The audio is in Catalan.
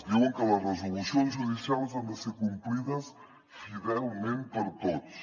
diuen que les resolucions judicials han de ser complides fidelment per tots